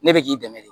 Ne bɛ k'i dɛmɛ de